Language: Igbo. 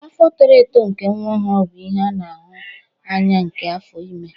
Afo toro eto nke nwa ọhụrụ bụ ihe a na-ahụ anya nke afọ ime.